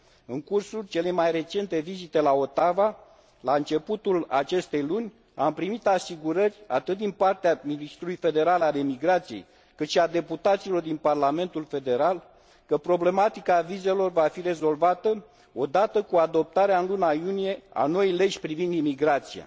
În cursul celei mai recente vizite la Ottawa, la începutul acestei luni, am primit asigurări atât din partea ministrului federal al emigrației, cât și a deputaților din Parlamentul Federal că problematica vizelor va fi rezolvată odată cu adoptarea în luna iunie a noii legi privind imigrația.